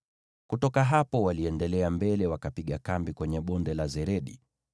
Kutoka hapo waliendelea mbele wakapiga kambi kwenye Bonde la Zeredi.